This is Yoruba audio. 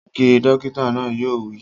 Ge! Dókítà náà yóò wí